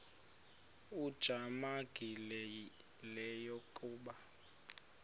ujamangi le yakoba